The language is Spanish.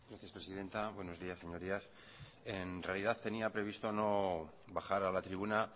gracias presidenta buenos días señorías en realidad tenía previsto no bajar a la tribuna